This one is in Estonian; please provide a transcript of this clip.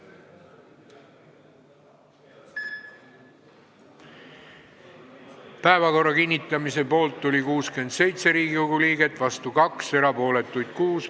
Hääletustulemused Päevakorra kinnitamise poolt oli 67 Riigikogu liiget, vastu 2, erapooletuks jäi 6.